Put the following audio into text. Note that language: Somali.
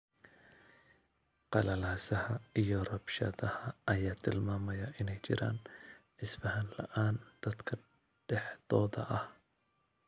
Qalalaasaha iyo rabshadaha ayaa tilmaamaya inay jiraan isfaham la'aan dadka dhexdooda ah.